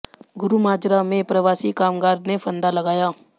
गुरू माजरा में प्रवासी कामगार ने फंदा लगाया